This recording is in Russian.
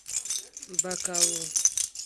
бакалу